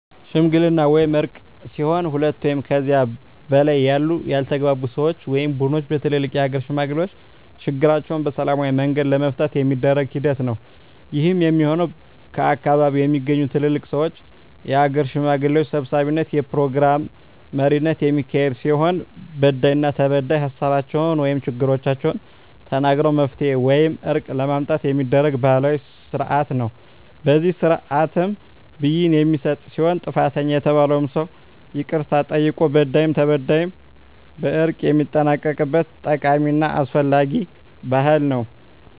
ሽምግልና ወይም እርቅ ሲሆን ሁለት ወይም ከዚያ በላይ ያሉ ያልተግባቡ ሰወች ወይም ቡድኖች በትልልቅ የሀገር ሽማግሌዎች ችግራቸዉን በሰላማዊ መንገድ ለመፍታት የሚደረግ ሂደት ነዉ። ይህም የሚሆን ከአካባቢዉ በሚገኙ ትልልቅ ሰወች(የሀገር ሽማግሌዎች) ሰብሳቢነት(የፕሮግራም መሪነት) የሚካሄድ ሲሆን በዳይና ተበዳይ ሀሳባቸዉን(ችግሮቻቸዉን) ተናግረዉ መፍትሄ ወይም እርቅ ለማምጣት የሚደረግ ባህላዊ ስርአት ነዉ። በዚህ ስርአትም ብይን የሚሰጥ ሲሆን ጥፋተኛ የተባለዉም ሰዉ ይቅርታ ጠይቆ በዳይም ተበዳይም በእርቅ የሚጠናቀቅበት ጠቃሚና አስፈላጊ ባህል ነዉ።